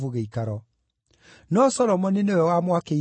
No Solomoni nĩwe wamwakĩire nyũmba.